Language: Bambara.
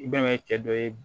I bɛn'a ye cɛ dɔ ye